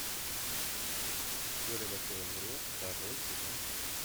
теория большого взрыва второй сезон